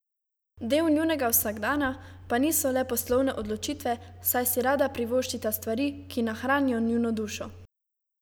Del njunega vsakdana pa niso le poslovne odločitve, saj si rada privoščita stvari, ki nahranijo njuno dušo.